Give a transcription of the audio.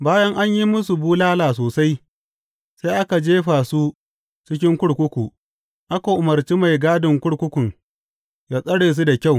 Bayan an yi musu bulala sosai, sai aka jefa su cikin kurkuku, aka umarci mai gadin kurkukun yă tsare su da kyau.